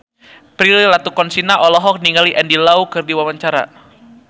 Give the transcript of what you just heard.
Prilly Latuconsina olohok ningali Andy Lau keur diwawancara